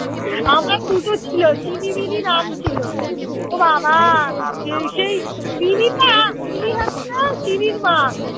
আমার দুটো ছিল চিনি মিনি নাম ছিল। ও বাবা এই সেই মিনিটা মিনি হচ্ছে চিনির মা।